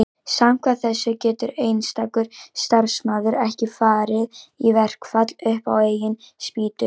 samkvæmt þessu getur einstakur starfsmaður ekki farið í verkfall upp á eigin spýtur